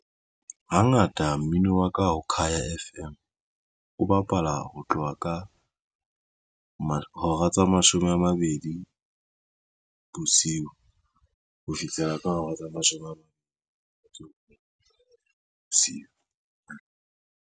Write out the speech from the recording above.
Hangata mmino wa ka o Khaya F_M o bapala ho tloha ka mo hora tse mashome a mabedi bosiu ho fihlela ka hora tsa mashome a bosiu.